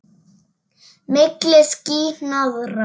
Milli ský- hnoðra.